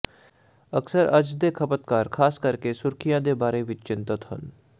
ਅਕਸਰ ਅੱਜ ਦੇ ਖਪਤਕਾਰ ਖਾਸ ਕਰਕੇ ਸੁਰੱਖਿਆ ਦੇ ਬਾਰੇ ਵਿੱਚ ਚਿੰਤਤ ਹਨ